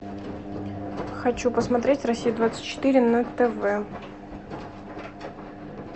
хочу посмотреть россия двадцать четыре на тв